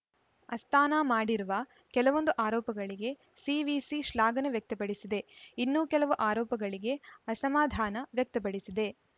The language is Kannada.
ಅಸ್ಥಾನಾ ಮಾಡಿರುವ ಕೆಲವೊಂದು ಆರೋಪಗಳಿಗೆ ಸಿವಿಸಿ ಶ್ಲಾಘನೆ ವ್ಯಕ್ತಪಡಿಸಿದೆ ಇನ್ನೂ ಕೆಲವು ಆರೋಪಗಳಿಗೆ ಅಸಮಾಧಾನ ವ್ಯಕ್ತಪಡಿಸಿದೆ